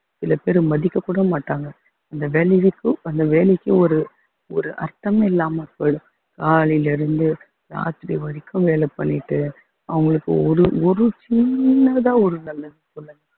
சில பேரு மதிக்கக் கூட மாட்டாங்க அந்த வேலைக்கும் அந்த வேலைக்கும் ஒரு ஒரு அர்த்தமும் இல்லாமல் போயிடும் காலையிலிருந்து ராத்திரி வரைக்கும் வேலை பண்ணிட்டு அவங்களுக்கு ஒரு ஒரு சின்னதா ஒரு நல்லது சொல்லுங்க